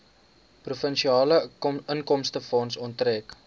provinsiale inkomstefonds onttrek